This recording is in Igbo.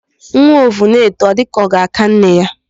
Nwa ovu na-eto, ọ dịka ka ọ ga-aka nne ya.